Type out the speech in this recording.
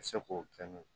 Se k'o kɛ n'o ye